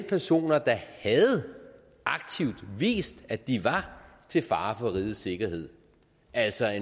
personer der havde aktivt vist at de var til fare for rigets sikkerhed altså